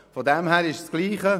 Deshalb ist es dasselbe.